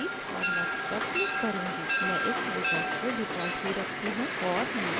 मैं इस विकल्प को default ही रखती हूँ और next पर click करती हूँ